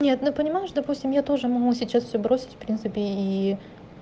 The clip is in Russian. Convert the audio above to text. нет но понимаешь допустим я тоже могу сейчас все бросить в принципе и